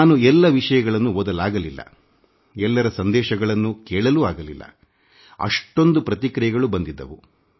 ನಾನು ಎಲ್ಲ ವಿಷಯಗಳನ್ನೂ ಓದಲಾಗಲಿಲ್ಲ ಅಥವಾಎಲ್ಲರ ಸಂದೇಶಗಳನ್ನೂ ಕೇಳಲು ಸಾಧ್ಯವಾಗಲಿಲ್ಲ ಏಕೆಂದರೆಅಷ್ಟೊಂದು ದೊಡ್ಡ ಸಂಖ್ಯೆಯಲ್ಲಿ ಪ್ರತಿಕ್ರಿಯೆಗಳು ಬಂದಿವೆ